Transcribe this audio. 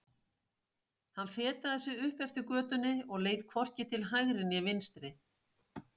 Hann fetaði sig upp eftir götunni og leit hvorki til hægri né vinstri.